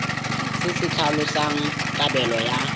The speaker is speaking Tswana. se se tlhalosang kabelo ya